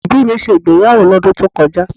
Àwọn òbí mi ṣe ìgbéyàwó lọ́dún tí ó kọjá